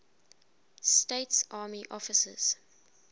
states army officers